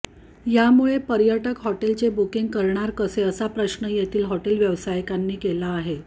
यामुळे पर्यंटक हॉटेलचे बुकींग करणार कसे असा प्रश्न येथील हॉटेल व्यावसाय़िकांनी केला आहे